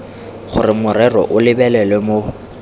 gore morero o lebelelwe mo